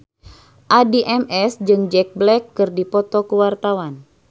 Addie MS jeung Jack Black keur dipoto ku wartawan